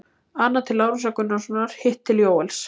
Annað til Lárusar Gunnarssonar, hitt til Jóels.